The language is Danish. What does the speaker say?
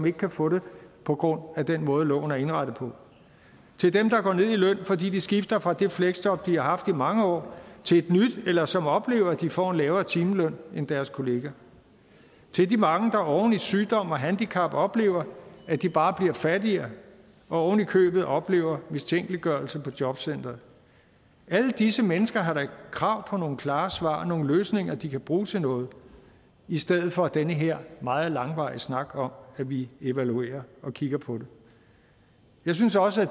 ikke kan få det på grund af den måde loven er indrettet på til dem der går ned i løn fordi de skifter fra det fleksjob de har haft i mange år til et nyt eller som oplever at de får en lavere timeløn end deres kollegaer til de mange der oven i sygdom og handicap oplever at de bare bliver fattigere og ovenikøbet oplever mistænkeliggørelse på jobcenteret alle disse mennesker har da krav på nogle klare svar og nogle løsninger de kan bruge til noget i stedet for den her meget langvarige snak om at vi evaluerer og kigger på det jeg synes også at